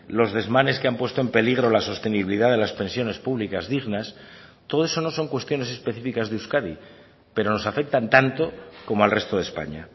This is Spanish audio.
los desmanes que han puesto en peligro la sostenibilidad de las pensiones públicas dignas todo eso no son cuestiones específicas de euskadi pero nos afectan tanto como al resto de españa